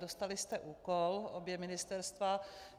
Dostali jste úkol - obě ministerstva.